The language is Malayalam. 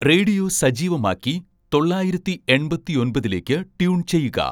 റേഡിയോ സജീവമാക്കി തൊള്ളായിരത്തി എൺപത്തൊമ്പതിലേക്ക് ട്യൂൺ ചെയ്യുക